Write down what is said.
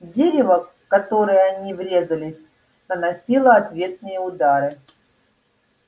дерево в которое они врезались наносило ответные удары